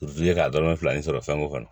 k'a dɔrɔmɛ fila nin sɔrɔ fɛn ko kɔnɔ